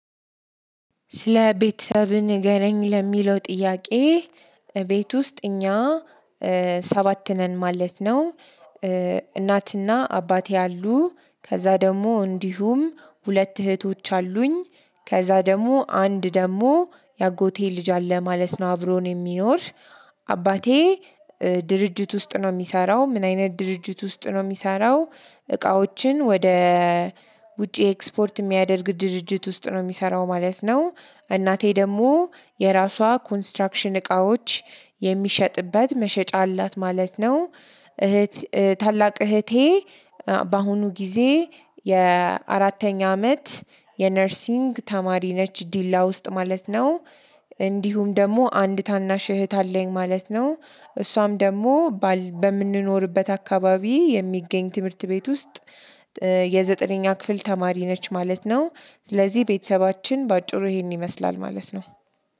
ስለ ቤተሰብህ ንገረኝ ለሚለው ጥያቄ ቤት ውስጥ እኛ ሰባት ነን ማለት ነው። እናትና አባቴ ኡሉ ከዛ ደግሞ እንዲሁም ሁለት እህቶች አሉኝ ከዛ ደግሞ አንድ ደግሞ የአጎቴ ልጅ አለ ማለት ነው አብሮን የሚኖር። አባቴ ድርጅት ውስጥ ነው የሚሰራው ምን አይነት ድርጅት ውስጥ ነው የሚሰራው? እቃዎችን ወደ ውጪ ኤክስፖርት የሚያደርግ ድርጅት ውስጥ ነው የሚሰራው ማለት ነው። እናቴ ደግሞ የራሷ ኮንስትራክሽን እቃዎች የሚሸጥበት መሸጫ አላት ማለት ነው። እህት ታላቅ እህቴ በአሁኑ ጊዜ የአራተኛ አመት የነርሲግ ተማሪ ነች ዲላ ውስጥ ማለት ነው። እንዲሁም ደግሞ አንድ ታናሽ እህት አለኝ ማለት ነው። እሷም ደግሞ በምንኖርበት አካባቢ የሚገኝ ትምህርት ቤት ውስጥ የዘጠነኛ ክፍል ተማሪ ነች ማለት ነው። ስለዚህ ቤተሰባችን በአጭሩ ይሄን ይመስላል ማለት ነው።